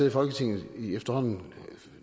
i folketinget i efterhånden